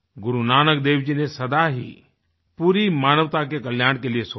गुरु नानक देव जी ने सदा ही पूरी मानवता के कल्याण के लिए सोचा